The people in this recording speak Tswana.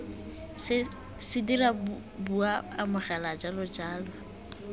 se dira bua amogela jalojalo